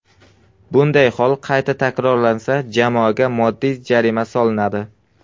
Bunday hol qayta takrorlansa, jamoaga moddiy jarima solinadi.